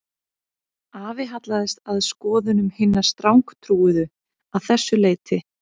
Afi hallaðist að skoðunum hinna strangtrúuðu að þessu leyti